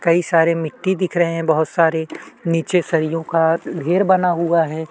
कई सारे मिट्टी दिख रहै है बहुत सारे नीचे सरियो का ढेर बना हुआ हैं।